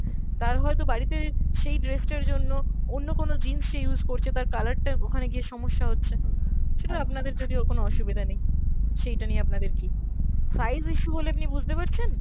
তার হয়তো বাড়িতে সেই dress টার জন্য অন্য কোনো jeans সে use করছে, তার colour টা ওখানে গিয়ে সমস্যা হচ্ছে। সেটা আপনাদের যদিও কোনো অসুবিধা নেই, সেওটা নিয়ে আপনাদের কী। size issue হলে আপনি বুঝতে পারছেন!